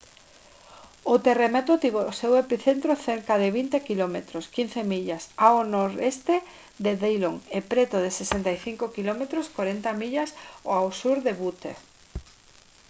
o terremoto tivo o seu epicentro cerca de 20 km 15 millas ao nornoroeste de dillon e preto de 65 km 40 millas ao sur de butte